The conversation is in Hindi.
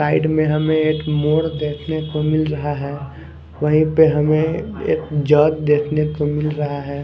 साइड में हमें एक मोड़ देखने को मिल रहा है वहीं पे हमें एक जग देखने को मिल रहा है।